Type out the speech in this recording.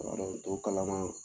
kuma dɔw to kalama.